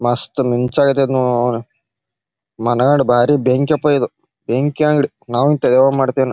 ಮಸ್ತ್ ಮಿಂಚಾಕತೆತ ಅವನೌನ. ಮನೆಕಡೆ ಬಾರಿ ಬೆಂಕಿಯಪ್ಪ ಇದು. ಬೆಂಕಿ ಅಂಗ್ಡಿ ನಾವು ಹಿಂತಾದ್ ಯಾವಾಗ್ ಮಾಡ್ತೇನ್.